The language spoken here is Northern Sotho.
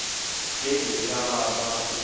ge e ka ba o